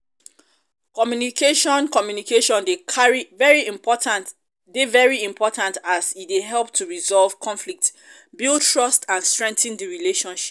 communication um communication um dey very important as e dey help to resolve conflicts build trust and strengthen di relationship.